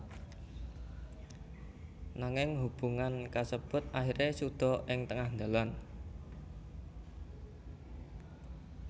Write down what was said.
Nanging hubungan kasebut akhiré suda ing tengah dalan